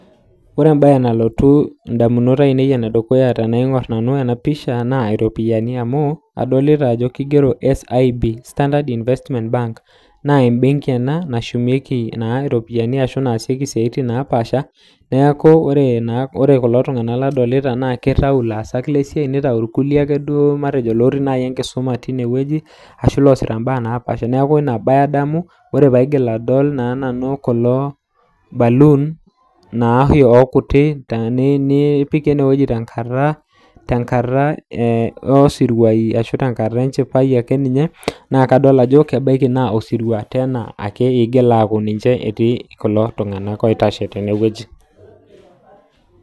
ore embaye nalotu indamunot ainei naa iropiani amuu kadolita ena enaa embenki naa kadolita kulo tunganak lootii ine wueji ajo ilaasak lesiai tenewueji nitayu irkulie ilootii ake siiniche enkisuma tine ore kulo baluuni netipikaki enewueji tenkata enchipai neeku kajo osirua eetae kulo tunganak oitashe tene